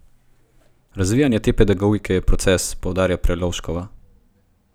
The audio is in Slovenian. Razvijanje te pedagogike je proces, poudarja Prelovškova.